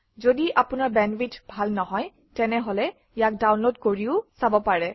যদি আপোনাৰ বেণ্ডৱিডথ ভাল নহয় তেনেহলে ইয়াক ডাউনলোড কৰি চাব পাৰে